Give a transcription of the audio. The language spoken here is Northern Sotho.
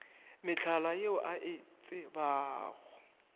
mehlala yeo a e tsebago